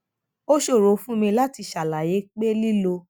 ó ṣòro fún mi láti ṣàlàyé pé lílọ